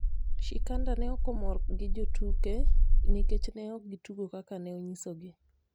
Shikanda ne okomor gijotuke nikech ne okgituko kaka ne onyiso gi